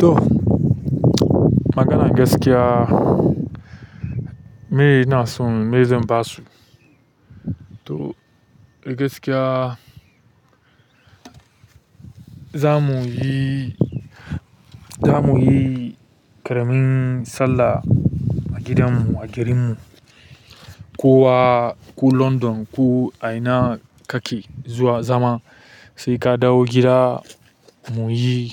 To maganar gaskiya, mai ina son mai zan ba su. To a gaskiya za mu yi, za mu yi ƙaramin sallah a gidanmu, a garinmu. Kowa, ko London, ko a ina kake zuwa zama, sai ka dawo gida mu yi